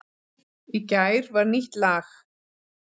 Í gær var nýtt lag